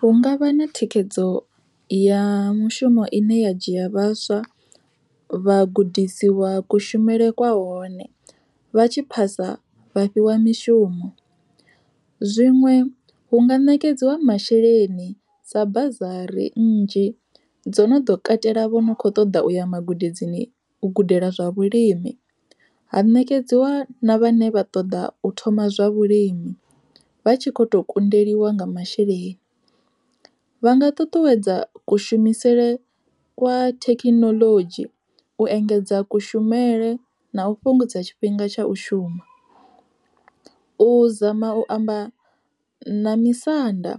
Hu ngavha na thikhedzo ya mushumo ine ya dzhia vhaswa, vhagudisiwa kushumele kwa hone vha tshi phasa vha fhiwa mishumo. Zwiṅwe hu nga ṋekedziwa masheleni sa bazari nnzhi dzo no ḓo katela vho no kho ṱoḓa uya magudedzini u gudela zwa vhulimi, ha ṋekedziwa na vhane vha ṱoḓa u thoma zwa vhulimi, vha tshi kho to kundeliwa nga masheleni. Vha nga ṱuṱuwedza kushumisele kwa thekinoḽodzhi u engedza kushumele na u fhungudza tshifhinga tsha u shuma, u zama u amba na misanda